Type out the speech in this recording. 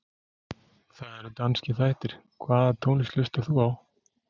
Það eru danskir þættir Hvaða tónlist hlustar þú á?